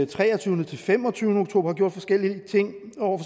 treogtyvende fem og tyve oktober har gjort forskellige ting over